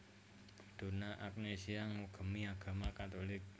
Donna Agnesia ngugemi agama Katolik